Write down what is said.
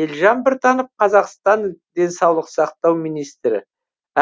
елжан біртанов қазақстан денсаулық сақтау министрі